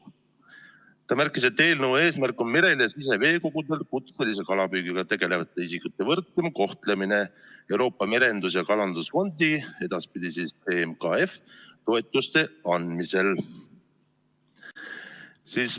Ta märkis, et eelnõu eesmärk on merel ja siseveekogudel kutselise kalapüügiga tegelevate isikute võrdsem kohtlemine Euroopa Merendus- ja Kalandusfondi toetuste andmisel.